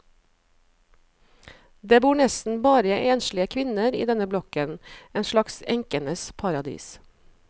Det bor nesten bare enslige kvinner i denne blokken, en slags enkenes paradis.